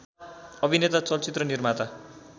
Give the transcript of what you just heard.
अभिनेता चलचित्र निर्माता